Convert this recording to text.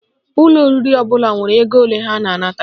Ụlọ oriri ọbụla nwere ego ole ha na-anata